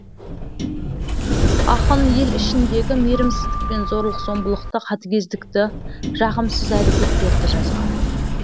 ақын ел ішіндегі мейірімсіздік пен зорлық зомбылықты қатыгездікті жағымсыз әрекеттерді жазған